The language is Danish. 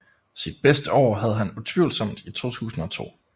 Sit bedste år havde han utvivlsomt i 2002